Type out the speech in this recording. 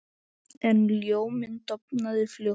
En ljóminn dofnaði fljótt.